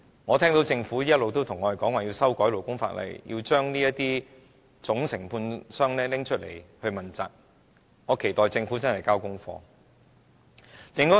我聽到政府一直對我們說要修改勞工法例，要這些總承建商問責，我期待政府認真交功課。